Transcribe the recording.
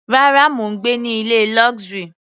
Rárá, mò ń gbé ní ilé luxury.